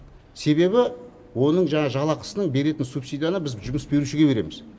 себебі оның жаңағы жалақысының беретін субсидияны біз жұмыс берушіге береміз